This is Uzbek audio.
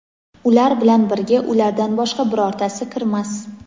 ular bilan birga ulardan boshqa birortasi kirmas.